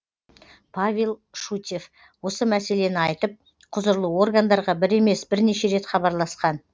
павел шутьев осы мәселені айтып құзырлы органдарға бір емес бірнеше рет хабарласқан